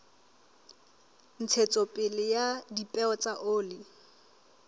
ntshetsopele ya dipeo tsa oli